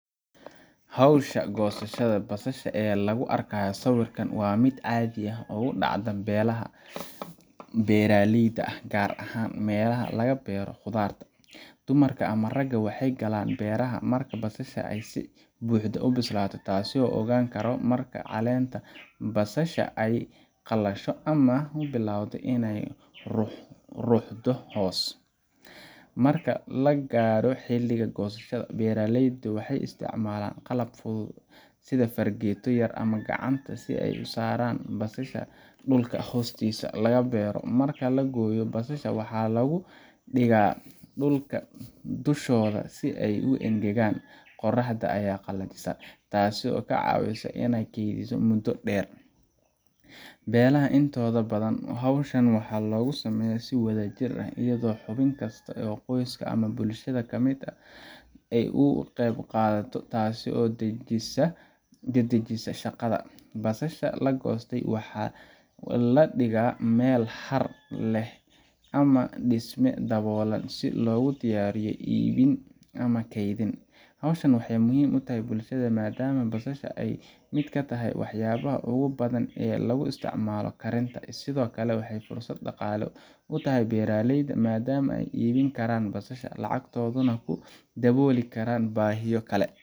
Hawshan goosashada basalaha ee lagu arkayo sawirka waa mid si caadi ah uga dhacda beelaha beeraleyda ah, gaar ahaan meelaha laga beero khudaarta. Dumarka ama ragga waxay galaan beeraha marka basasha ay si buuxda u bislaato, taasoo la ogaan karo marka caleenta basasha ay qalasho ama ay bilowdo inay is ruxdo hoos. Marka la gaadho xilliga goosashada, beeraleyda waxay isticmaalaan qalab fudud sida fargeeto yar ama gacanta si ay u soo saaraan basalaha dhulka hoostiisa laga beero. Marka la gooyo, basalaha waxaa lagu dhigaa dhulka dushooda si ay u engegaan qoraxda ayaa qalajisa, taasoo ka caawisa in la kaydiyo muddo dheer. Beelaha intooda badan, hawshan waxaa lagu sameeyaa si wadajir ah iyadoo xubin kasta oo qoyska ama bulshada ka mid ah uu ka qayb qaato, taasoo dedejisa shaqada. Basasha la goostay waxaa la dhigaa meel har leh ama dhisme daboolan si loogu diyaariyo iibin ama kaydin. Hawshan waxay muhiim u tahay bulshada maadaama basasha ay ka mid tahay waxyaabaha ugu badan ee lagu isticmaalo karinta. Sidoo kale, waxay fursad dhaqaale u tahay beeraleyda maadaama ay iibin karaan basasha, lacagtoodana ku dabooli karaan baahiyo kale